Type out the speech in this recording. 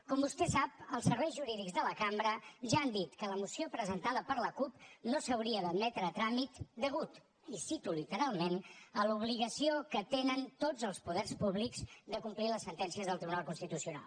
com vostè sap els serveis jurídics de la cambra ja han dit que la moció presentada per la cup no s’hauria d’admetre a tràmit a causa i cito literalment de l’obligació que tenen tots els poder públics de complir les sentències del tribunal constitucional